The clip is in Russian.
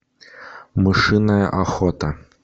мышиная охота